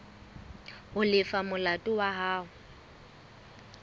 ho lefa molato wa hao